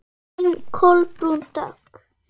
Þín Kolbrún Dögg.